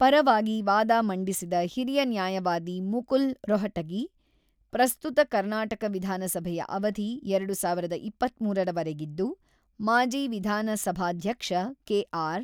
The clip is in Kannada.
ಪರವಾಗಿ ವಾದ ಮಂಡಿಸಿದ ಹಿರಿಯ ನ್ಯಾಯವಾದಿ ಮುಕುಲ್ ರೊಹಟಗಿ, ಪ್ರಸ್ತುತ ಕರ್ನಾಟಕ ವಿಧಾನಸಭೆಯ ಅವಧಿ ಎರಡು ಸಾವಿರದ ಇಪ್ಪತ್ತ್ಮೂರರ ವರೆಗಿದ್ದು, ಮಾಜಿ ವಿಧಾನಸಭಾಧ್ಯಕ್ಷ ಕೆ.ಆರ್.